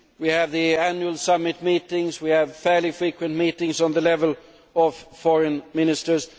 We have the annual summit meetings and we have fairly frequent meetings at the level of foreign ministers.